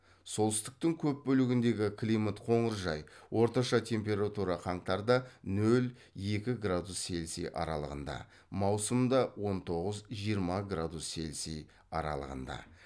солтүстіктің көп бөлігіндегі климат қоңыржай орташа температура қаңтарда нөл екі градус цельсий аралығында маусымда он тоғыз жиырма градус цельсий аралығында